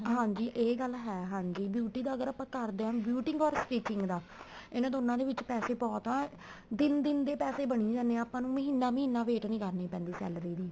ਹਾਂਜੀ ਏ ਗੱਲ ਹੈ ਹਾਂਜੀ beauty ਅਗਰ ਆਪਾਂ ਕਰਦੇ ਹਾਂ beauty or stinging ਦਾ ਇਹਨਾ ਦੋਨਾਂ ਦੇ ਵਿੱਚ ਪੈਸੇ ਬਹੁਤ ਆ ਦਿਨ ਦੇ ਦਿਨ ਪੈਸੇ ਬਣੀ ਜਾਂਦੇ ਹੈ ਆਪਾਂ ਨੂੰ ਮਹੀਨਾ ਮਹੀਨਾ wait ਨਹੀਂ ਕਰਣੀ ਪੈਂਦੀ salary ਦੀ